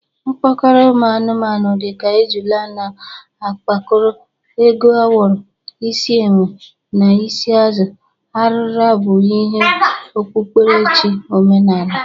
Mkpokoro ụmụ anụmanụ dị ka ejụla na akpakoro, ego awọrọ, isi enwe, na isi azụ arịra bụ ihe okpukperechi omenaala.